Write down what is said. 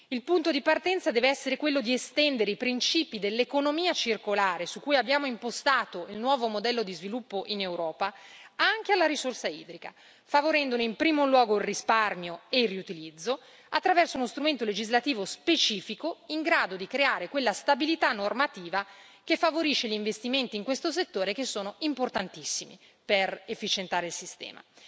Il punto di partenza deve essere quello di estendere i principi dell'economia circolare, su cui abbiamo impostato il nuovo modello di sviluppo in Europa, anche alla risorsa idrica, favorendone in primo luogo il risparmio e il riutilizzo attraverso uno strumento legislativo specifico in grado di creare quella stabilità normativa che favorisce gli investimenti in questo settore, che sono importantissimi per efficientare il sistema.